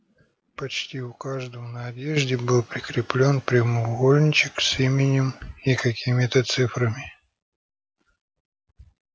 почти у каждого на одежде был прикреплён прямоугольничек с именем и какими-то цифрами